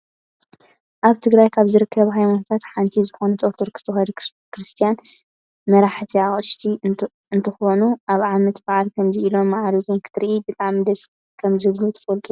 ኣብ ትግራይ ካብ ዝርከባ ሃይማኖታት ሓንቲ ዝኮነት ኦርቶዶክስ ተዋህዶ ክርስትያን መራሕቲ ኣቅሽሽቲ እንትኮኖ ኣብ ዓመተ ባዓል ከምዚ እሎም ማዕሪጎም ክትርኢ ብጣዕሚ ደስ ከምዝብሉ ትፈልጡ ዶ?